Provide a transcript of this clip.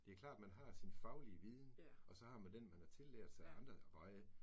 Det er klart, men har sin faglige viden, og så har man den, man har tillært sig af andre veje